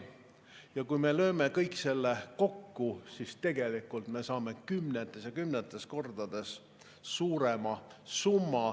Ja kui me lööme kõik selle kokku, siis me saame kümnetes ja kümnetes kordades suurema summa.